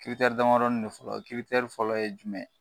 damadɔni don fɔlɔ . fɔlɔ ye jumɛnye?